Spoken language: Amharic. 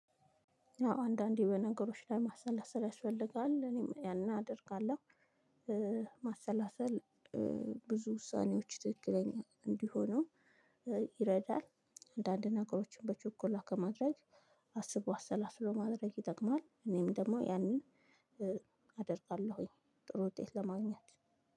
አዎ አንዳንዴ በነገሮች ላይ ማሰላሰል ያስፈልጋል እኔም ያን አደርጋለሁ። ማሰላሰል ብዙ ውሳኔዎች ትክክለኛ እንዲሆኑ ይረዳል። አንዳንድ ነገሮችን በችኮላ ከማድረግ አስቦ አሰላስሎ ማድረግ ይጠቅማል። እኔም ደግሞ ያንን አደርጋለሁኝ። ጥሩ ውጤት ለማግኘት